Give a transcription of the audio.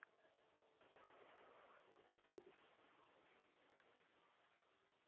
হ্যাঁ হ্যাঁ এখনো আমি কাজের ফাকে যেটুকুনি হয়ে, আগে তো অনেক বেশি করতাম, এখন সামান্যই হয়।